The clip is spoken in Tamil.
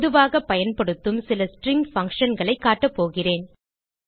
பொதுவாக பயன்படுத்தும் சில ஸ்ட்ரிங் functionகளைக் காட்டப்போகிறேன்